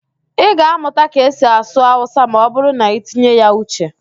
Ị ga-amụta ka esi asụ Awụsa ma ọ bụrụ na-itinye ya uche.